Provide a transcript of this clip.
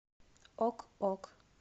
ок ок